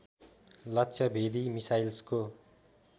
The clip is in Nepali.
लक्ष्य भेदी मिसाइल्सको